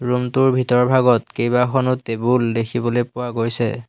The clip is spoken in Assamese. ৰুম টোৰ ভিতৰভাগত কেইবাখনো টেবুল দেখিবলৈ পোৱা গৈছে।